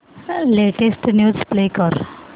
latest news play कर